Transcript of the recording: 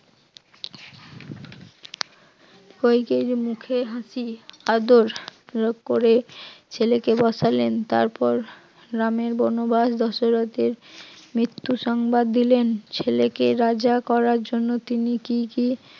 কইকেয়ীর মুখে হাসি আদর অনুরোধ করে ছেলেকে বসালেন তারপর রামের বনবাস দশরথের মৃত্যু সংবাদ দিলেন, ছেলেকে রাজা করার জন্য তিনি কি কি